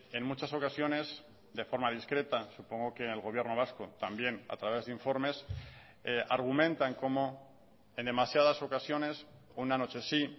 en muchas ocasiones de forma discreta supongo que el gobierno vasco también a través de informes argumentan como en demasiadas ocasiones una noche sí